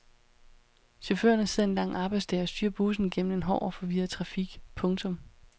Chaufførerne sidder en lang arbejdsdag og styrer bussen gennem en hård og forvirret trafik. punktum